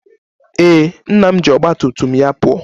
Ee, nna m ji ọgba tum tum ya pụọ